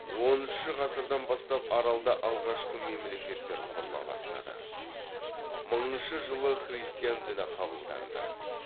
оныншы ғасырдан бастап аралда алғашқы мемлекеттер құрыла бастады мыңыншы жылы христиан діні қабылданды